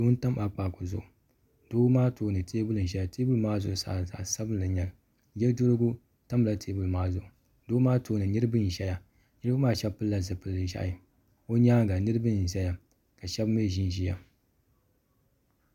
Doo n tam akpaaku zuɣu doo maa tooni teebuli n zaya teebuli maa zuɣusaa zaɣa sabinli n nyɛli yeduhurigu tamla teebuli maa zuɣu doo maa tooni nirina n ʒɛya niriba maa sheba pilila zipil'ʒehi o nyaanga niriba n ʒɛya ka sheba mee ʒinʒia.